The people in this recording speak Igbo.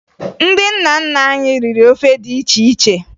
Ndị nna nna anyị riri ofe dị iche iche